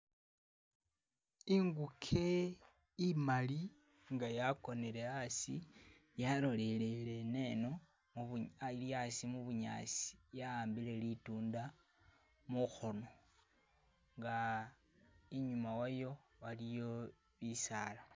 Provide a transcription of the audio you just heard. Inguke imali nga yakonile asi, yalolelele ineno, ili'asii mubuyaasi ya'ambile litunda mukhono nga'inyuma wayo waliyo bisaala